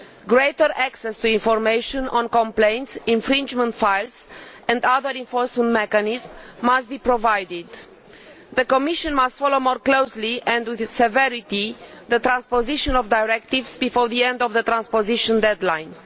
Greater access to information on complaints, infringement files and other enforcement mechanisms must be provided. The Commission must follow more closely and with severity the transposition of directives before the end of the transposition deadline.